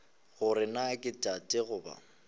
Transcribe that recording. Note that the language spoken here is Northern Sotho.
gore na ke tate goba